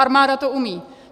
Armáda to umí.